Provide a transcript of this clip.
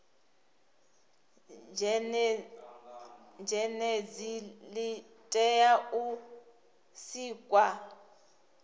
zhenedzi li tea u sikwa